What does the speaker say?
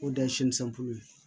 O de ye ye